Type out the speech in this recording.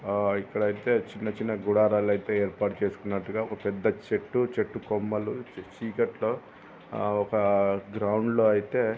ఆ ఇక్కడైతే చిన్న చిన్న గుడారాలైతే ఏర్పాటు చేసుకున్నట్టుగా ఒక పెద్ద చెట్టు చెట్టు కొమ్మలు చి-చీకట్లో ఆ ఒక గ్రౌండ్లో అయితే --